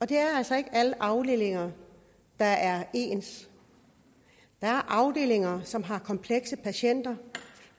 det er altså ikke alle afdelinger der er ens der er afdelinger som har komplekse patienter